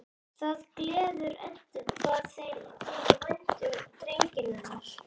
Það gleður Eddu hvað þeim þykir vænt um drenginn hennar.